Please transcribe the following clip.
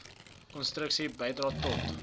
konstruktiewe bydrae tot